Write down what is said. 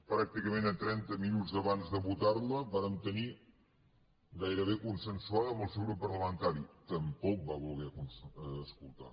pràcticament a trenta minuts abans de votar la vàrem tenir gairebé consensuada amb el seu grup parlamentari tampoc va voler escoltar